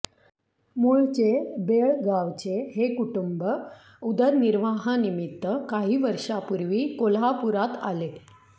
मूळचे बेळगावचे हे कुटुंब उदरनिर्वाहानिमित्त काही वर्षांपूर्वी कोल्हापुरात आले